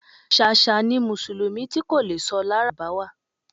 Ṣàṣà ni mùsùlùmí ti kò le sọ lárábáwá